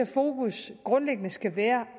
fokus grundlæggende skal være